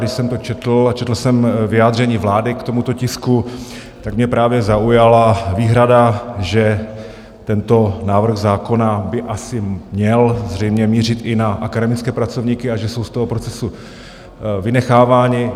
Když jsem to četl a četl jsem vyjádření vlády k tomuto tisku, tak mě právě zaujala výhrada, že tento návrh zákona by asi měl zřejmě mířit i na akademické pracovníky a že jsou z toho procesu vynecháváni.